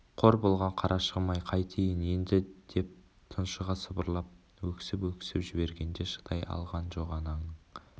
қор болған қарашығым-ай қайтейін енді деп тұншыға сыбырлап өксіп-өксіп жібергенде шыдай алған жоқ ананың